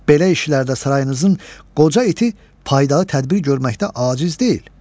Belə işlərdə sarayınızın qoca iti faydalı tədbir görməkdə aciz deyil.